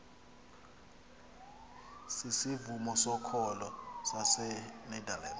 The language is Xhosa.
sisivumo sokholo sasenederland